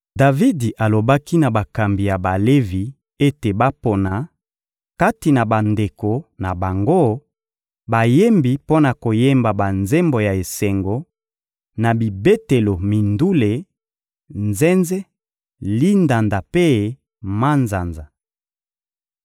Davidi alobaki na bakambi ya Balevi ete bapona, kati na bandeko na bango, bayembi mpo na koyemba banzembo ya esengo, na bibetelo mindule: nzenze, lindanda mpe manzanza.